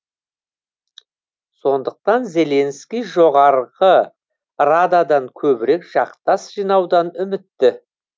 сондықтан зеленский жоғарғы рададан көбірек жақтас жинаудан үмітті